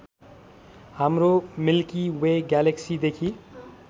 हाम्रो milky way ग्यालेक्सीदेखि